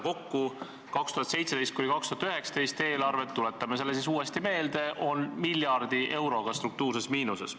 2017.–2019. aasta eelarve kokku, tuletame siis uuesti meelde, on miljardi euroga struktuurses miinuses.